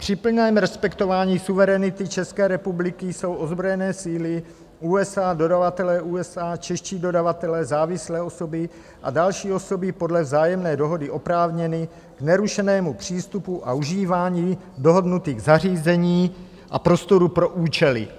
Při plném respektování suverenity České republiky jsou ozbrojené síly USA, dodavatelé USA, čeští dodavatelé, závislé osoby a další osoby podle vzájemné dohody oprávněny k nerušenému přístupu a užívání dohodnutých zařízení a prostorů pro účely...